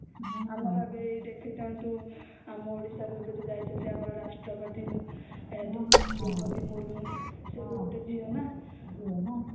ଆମର ଏବେ ଦେଖିଥାନ୍ତୁ ଆମ ଓଡିଶା ରୁ ଏବେ ଯୋଉ ଯାଇଛନ୍ତି ଆମ ରାଷ୍ଟ୍ରପତି ଦ୍ରୌପଦୀ ମୁର୍ମୁ ସେ ତା ଗୋଟେ ଝିଅ ନ ହମ୍ମ